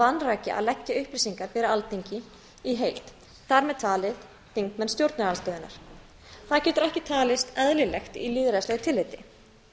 vanræki að leggja upplýsingar fyrir alþingi í heild þar með talin þingmenn stjórnarandstöðunnar það getur ekki talist eðlilegt í lýðræðislegu tilliti